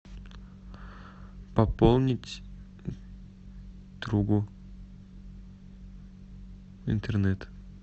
пополнить другу интернет